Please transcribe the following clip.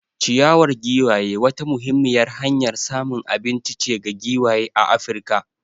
Ciyawar giwaye wata muhimmiyar hanyar samun abinci ce ga giwaye a Afirka.